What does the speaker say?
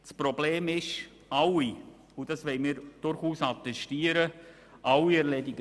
Das Problem ist, dass sicher alle pflichtbewusst die ihnen zugewiesene Aufgabe erledigen.